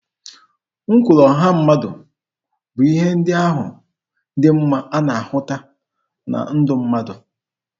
Ụkpụrụ ọha mmadụ bụ ihe ndị ahụ dị mma a na-ahụta na ndụ mmadụ.